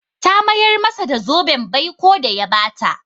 Ta mayar masa da zoben baiko da ya ba ta.